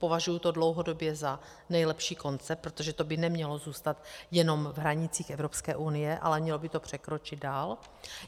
Považuji to dlouhodobě za nejlepší koncept, protože to by nemělo zůstat jenom v hranicích Evropské unie, ale mělo by to překročit dál.